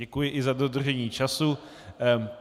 Děkuji i za dodržení času.